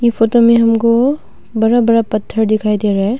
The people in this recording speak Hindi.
इ फोटो में हमको बड़ा बड़ा पत्थर दिखाई दे रहा है।